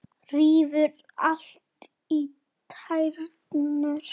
Rífur allt í tætlur.